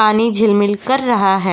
पानी झिलमिल कर रहा है --